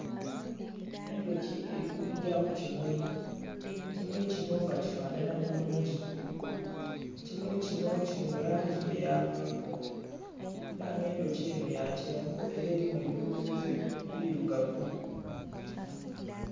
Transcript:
Endhoki eri kugya ku kimuli ekimuli kinho nga kifanhanah bulungi ekimuli kinho kili mulangi eya paapo era nga endhoki enho ya kyenvu era erimu ebikulubuze ebirugavu.